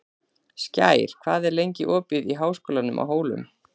Skær, hvað er lengi opið í Háskólanum á Hólum?